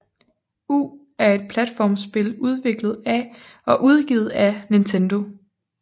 U er et platformspil udviklet af og udgivet af Nintendo